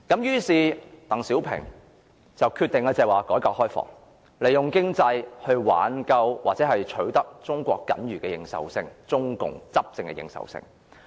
於是，鄧小平決定推行改革開放，利用經濟來挽救或取得中共僅餘的執政認受性。